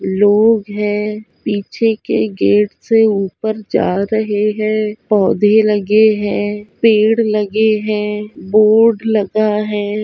लोग हैं पीछे के गेट से ऊपर जा रहे हैं पौधे लगे हैं पेड़ लगे हैं बोर्ड लगा है।